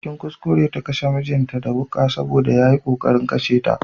Cikin kuskure ta kashe mijinta da wuƙa Saboda yayi ƙoƙarin kashe ta.